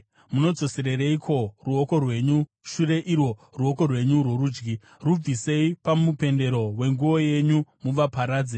Munodzoserereiko ruoko rwenyu shure, irwo ruoko rwenyu rworudyi? Rubvisei pamupendero wenguo yenyu muvaparadze!